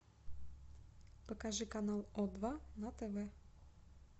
покажи канал о два на тв